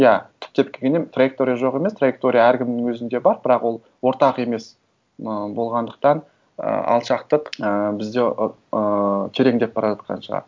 иә түптеп келгенде траектория жоқ емес траектория әркімнің өзінде бар бірақ ол ортақ емес ы болғандықтан ы алшақтық і бізде ыыы тереңдеп бара жатқан шығар